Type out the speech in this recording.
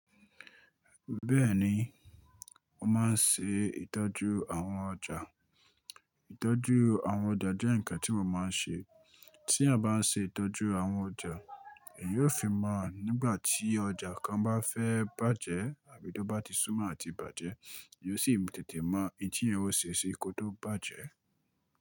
Bẹ́ẹ̀ni, mo máa ń ṣe ìtọ́jú àwọn ọjà. Ìtọ́jú àwọn ọjà jẹ́ ǹkan tí mo máa ń ṣe. Tí eeyan bá ń ṣe ìtọ́jú àwọn ọjà, èeyan ó fi mọ̀ nígbà tí ọjà kan bá fẹ́ bàjẹ́ àbí tó bá ti súnmọ́ àti bàjẹ́, èyí ó sì tètè mọ̀ oun tiyàn ó ṣe sí kí ó tó bàjẹ́.